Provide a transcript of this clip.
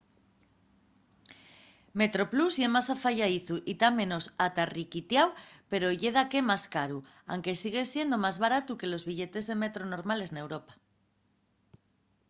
metroplus ye más afayadizu y ta menos atarriquitáu pero ye daqué más caru anque sigue siendo más baratu que los billetes de metro normales n'europa